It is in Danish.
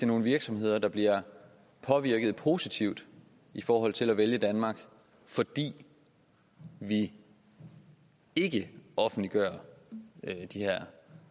nogle virksomheder der bliver påvirket positivt i forhold til at vælge danmark fordi vi ikke offentliggør de her